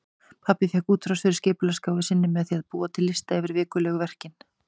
Pabbi fékk útrás fyrir skipulagsgáfu sína með því að búa til lista yfir vikulegu verkin.